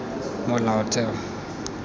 molaotheo